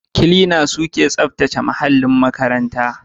Klina, su suke tsaftace muhallin makarantar.